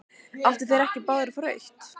Áttu þeir ekki báðir að fá rautt?